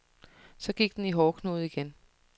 Så gik den i hårknude igen.